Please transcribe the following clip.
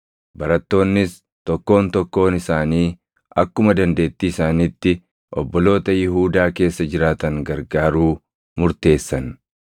Barattoonnis tokkoon tokkoon isaanii akkuma dandeettii isaaniitti obboloota Yihuudaa keessa jiraatan gargaaruu murteessan.